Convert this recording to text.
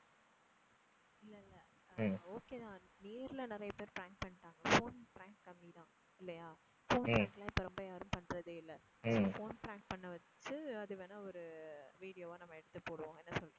இல்ல இல்ல okay தான். நேர்ல நிறைய பேரு prank பண்ணிட்டாங்க phone prank கம்மி தான் இல்லையா? phone prank லாம் இப்போ ரொம்ப யாரும் பண்றதே இல்ல phone prank பண்ண வச்சு அதை வேணும்னா ஒரு video வா நம்ம எடுத்து போடுவோம். என்ன சொல்ற?